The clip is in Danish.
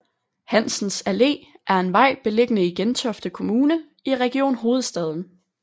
Hansens Allé er en vej beliggende i Gentofte Kommune i Region Hovedstaden